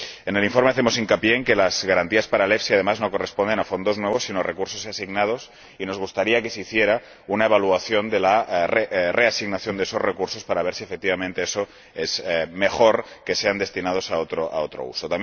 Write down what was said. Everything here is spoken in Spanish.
En el informe hacemos hincapié en que, además, las garantías para el EFSI no corresponden a fondos nuevos, sino a recursos asignados, y nos gustaría que se hiciera una evaluación de la reasignación de esos recursos para ver si, efectivamente, eso es mejor que que sean destinados a otro uso.